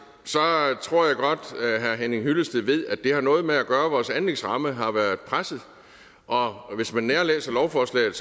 tror jeg godt at herre henning hyllested ved at det har noget at gøre med at vores anlægsramme har været presset og hvis man nærlæser lovforslaget